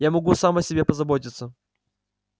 я могу сам о себе позаботиться